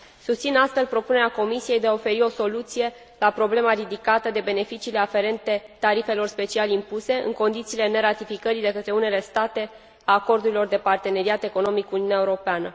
Susțin, astfel, propunerea Comisiei de a oferi o soluție la problema ridicată de beneficiile aferente tarifelor special impuse, în condițiile neratificării de către unele state a acordurilor de parteneriat economic cu Uniunea Europeană.